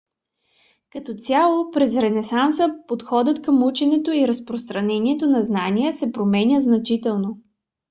като цяло през ренесанса подходът към ученето и разпространението на знания се променя значително